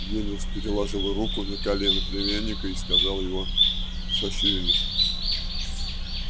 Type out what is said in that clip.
венус переложил руку на колено племянника и сказал его сощурились